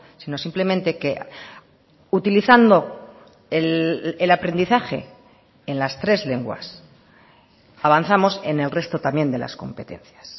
sino simplemente que utilizando el aprendizaje en las tres lenguas avanzamos en el resto también de las competencias